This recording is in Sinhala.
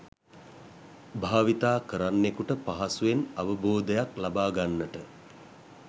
භාවිතා කරන්නෙකුට පහසුවෙන් අවබෝධයක් ලබා ගන්නට